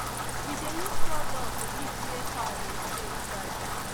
we dey use sawdust keep where cow dey stay dry